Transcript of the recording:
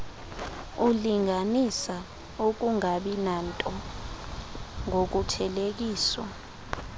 ulinganisa ukungabinanto ngokuthelekiswa